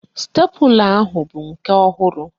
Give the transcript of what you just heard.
Sitepula ahụ bụ nke ọhụrụ